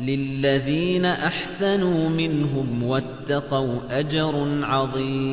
لِلَّذِينَ أَحْسَنُوا مِنْهُمْ وَاتَّقَوْا أَجْرٌ عَظِيمٌ